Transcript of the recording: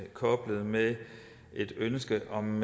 koblet med et ønske om